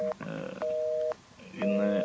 ഏഹ് ഇന്ന്